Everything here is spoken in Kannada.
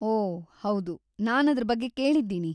ಓಹ್‌, ಹೌದು, ನಾನ್‌ ಅದ್ರ ಬಗ್ಗೆ ಕೇಳಿದ್ದೀನಿ.